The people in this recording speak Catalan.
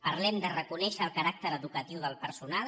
parlem de reconèixer el caràcter educatiu del personal